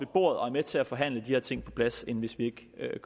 bordet og er med til at forhandle de her ting på plads end hvis vi